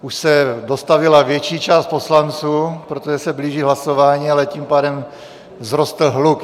Už se dostavila větší část poslanců, protože se blíží hlasování, ale tím pádem vzrostl hluk.